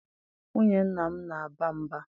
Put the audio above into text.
Nwunye nna m na-aba mba